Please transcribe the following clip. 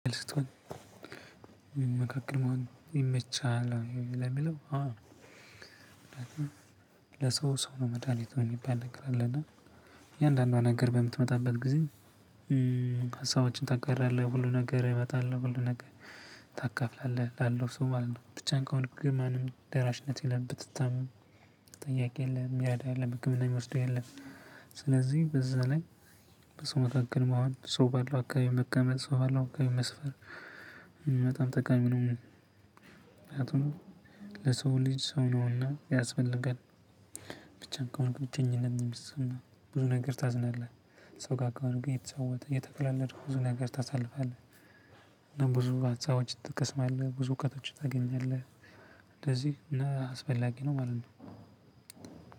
መካከል መሆን ይመችሃል ለሚለው? አዎ፣ ሰው ነው መድሃኒቱ ምይባል ነገር አለ እና የእያንዳንዷ ነገር በምትመጣበት ጊዜ ታጋራለህ ሁሉ ነገር ይመጣል ነው ሁሉ ነገር ታካፍላለህ ላለው ሰው ማለት ነው ብቻን ከሆንክ ግን ማንም ደራሽነት የለም ብትታም ጥያቄ የለም፣ ሚረዳ የለም፣ ህክምና የሚወስደው የለም ስለዚህ በዛ ላይ በሰው መካከል መሆን፣ ሰው ባለው አካባቢ መቀመጥ፣ ሰው ባለው አካባቢ መስፈር በጣም ጠቃሚ ነው ለሰው ልጅ ሰው ነውና ያስፈልጋል። ብቻን ከሆንክ ብቸኝነት ነው የምንሰማ ብዙ ነገር ታዝናለህ ሰው ጋር ከሆንክ እየተጫወተ እየተቀላለድክ ብዙ ነገር ታሳልፋለህ ብዙ አጽዎች ትቀስማለህ ብዙ እውቀቶች ታገኛለህ እንደዚህ አስፈላጊ ነው ማለት ነው።